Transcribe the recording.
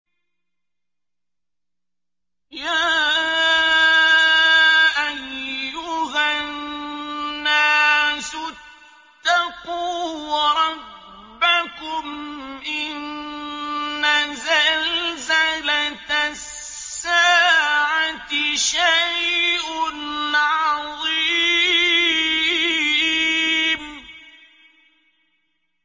يَا أَيُّهَا النَّاسُ اتَّقُوا رَبَّكُمْ ۚ إِنَّ زَلْزَلَةَ السَّاعَةِ شَيْءٌ عَظِيمٌ